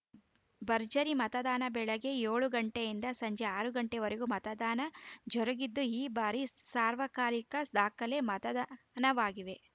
ಭರ್ಜರಿ ಮತದಾನ ಬೆಳಗ್ಗೆ ಏಳು ಗಂಟೆಯಿಂದ ಸಂಜೆ ಆರು ಗಂಟೆವರೆಗೆ ಮತದಾನ ಜರುಗಿದ್ದು ಈ ಬಾರಿ ಸಾರ್ವಕಾಲಿಕ ದಾಖಲೆ ಮತದಾನ ವಾಗಿದೆ